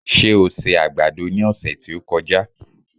Ṣé o se àgbàdo ní ọ̀sẹ̀ tí ó kọjá?